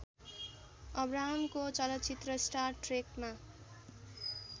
अब्राहमको चलचित्र स्टार ट्रेकमा